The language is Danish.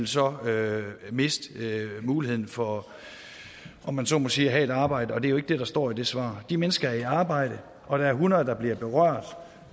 så vil miste muligheden for om man så må sige at have et arbejde og det er jo ikke det der står i det svar de mennesker er i arbejde og der er hundrede der bliver berørt